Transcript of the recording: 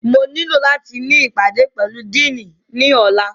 Mo nilo lati ni ipade pẹlu Dìiní ni ọla!